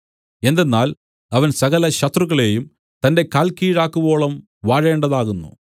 എന്തെന്നാൽ അവൻ സകലശത്രുക്കളെയും തന്റെ കാൽക്കീഴാക്കുവോളം വാഴേണ്ടതാകുന്നു